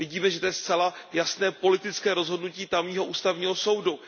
Vidíme, že to je zcela jasné politické rozhodnutí tamního ústavního soudu.